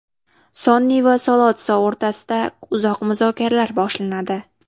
Sonni va Solotsso o‘rtasida uzoq muzokaralar boshlanadi.